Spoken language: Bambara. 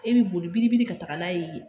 E bɛ boli biribiri ka taga n'a ye yen